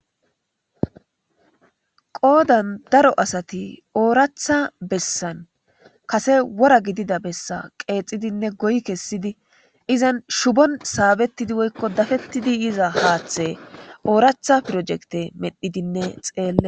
qoodan daro asati ooratha bessan kase wora gidida bessa qeexidinne goy kessidi izan shubon saabettidi woykko dafettidi yiza haaththe ooratha pirojekte medhidinne xeelle